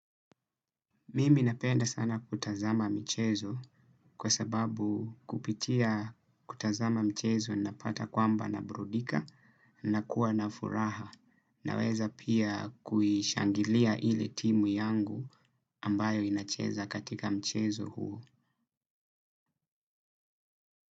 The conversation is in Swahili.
Mimi napenda sana kutazama michezo kwa sababu kupitia kutazama michezo na pata kwamba na burudika na kuwa na furaha na weza pia kuishangilia ile timu yangu ambayo inacheza katika mchezo huo.